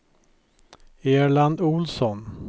Erland Ohlsson